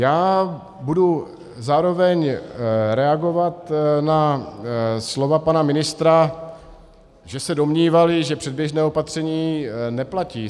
Já budu zároveň reagovat na slova pana ministra, že se domnívali, že předběžné opatření neplatí.